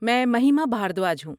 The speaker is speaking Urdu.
میں مہیما بھاردواج ہوں۔